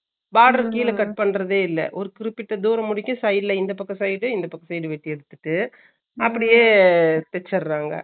boarder கீழ cut பண்றதே இல்ல ஒரு குறிப்பிட தூரம் வரைக்கும் side ல இந்த பக்க side இந்த பக்க side வேட்டி எடுத்திட்டு அப்பிடியே தேச்சிடுறாங்க